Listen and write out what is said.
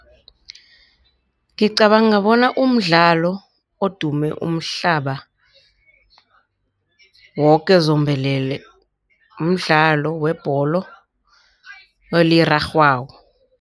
Ngicabanga bona umdlalo odume umhlaba woke zombelele mdlalo webholo elirarhwako.